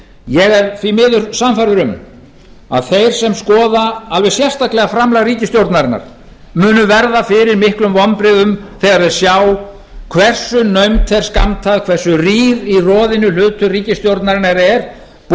ég er því miður sannfærður um að þeir sem skoða alveg sérstaklega framlag ríkisstjórnarinnar munu verða fyrir miklum vonbrigðum þegar þeir sjá hversu naumt þeir skammta hversu rýr í roðinu hlutur ríkisstjórnarinnar er